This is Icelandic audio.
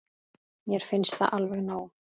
Mér finnst það alveg nóg.